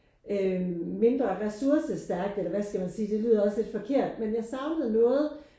Øh mindre ressoursestærkt eller hvad skal man sige det lyder også lidt forkert men jeg savnede noget